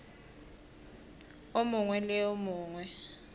o mongwe le o mongwe